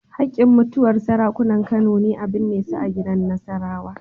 Haƙƙin mutuwar Sarakunan Kano ne a binne su gidan Nasarawa.